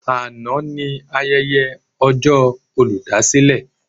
Àná ni ayẹyẹ ọjọ́ olùdásílẹ̀.